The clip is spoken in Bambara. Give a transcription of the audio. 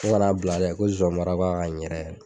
ko n ŋan'a bila dɛ ko zɔnbara b'a kan ɲɛrɛ yɛr